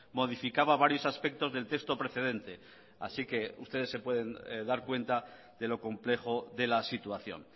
modificaba varios aspectos del texto precedente así que ustedes se pueden dar cuenta de lo complejo de la situación